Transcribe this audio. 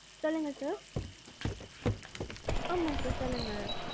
சொல்லுங்க sir. ஆமா sir. சொல்லுங்க.